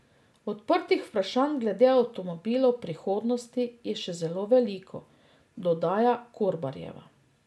Odprtih vprašanj glede avtomobilov prihodnosti je še zelo veliko, dodaja Korbarjeva.